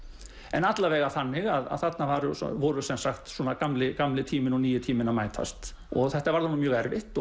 en alla vega þannig að þarna voru gamli gamli tíminn og nýi tíminn að mætast og þetta varð honum mjög erfitt